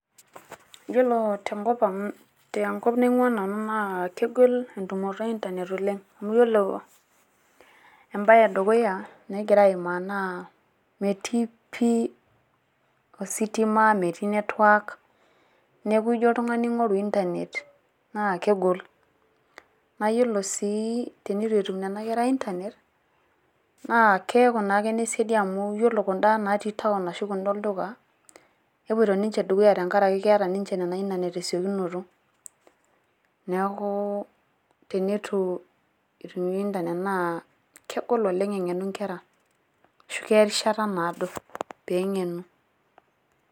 Yiolo tenkop ang, tenkop naing`uaa nanu naa kegol entumoto e internet oleng. Yiolo embae e dukuya nagira aimaa naa metii pii ositima , metii network niaku ijo oltung`ani aing`oru internet naa kegol. Naa yiolo sii tenitu etum nena kera internet naa keaku naake ine siadi amu iyiolo kun`da natii town kun`da olduka nepuoito ninche dukuya tenkaraki keeta ninche ina internet te siokinoto niaku teneitu etum internet naa kegol oleng eng`enu nkera ashu keya erishata naado pee eng`enu.